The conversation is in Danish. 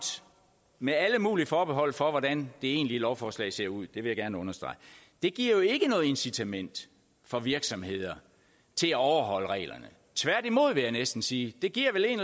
med alle mulige forbehold for hvordan det egentlige lovforslag ser ud vil jeg gerne understrege giver jo ikke noget incitament for virksomheder til at overholde reglerne tværtimod vil jeg næsten sige det giver vel en